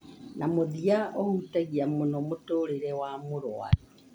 na mũthia ũhutagia mũno mũtũũrĩre wa mũrwaru